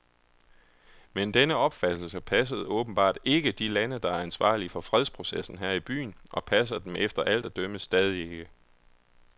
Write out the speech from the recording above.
Men denne opfattelse passede åbenbart ikke de lande, der er ansvarlige for fredsprocessen her i byen, og passer dem efter alt at dømme stadig ikke.